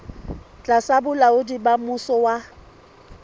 tlasa bolaodi ba mmuso wa